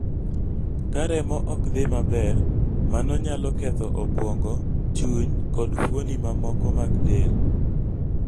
Ka remo ok dhi maber, mano nyalo ketho obwongo, chuny, kod fuoni mamoko mag del.